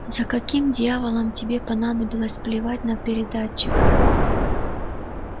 за каким дьяволом тебе понадобилось плевать на передатчик